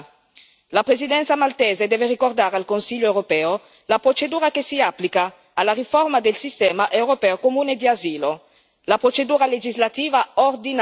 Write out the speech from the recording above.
La Presidenza maltese deve ricordare al Consiglio europeo la procedura che si applica alla riforma del sistema europeo comune di asilo, vale a dire la procedura legislativa ordinaria.